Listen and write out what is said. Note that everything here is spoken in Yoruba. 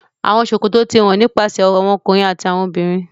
Trousers are worn by men and women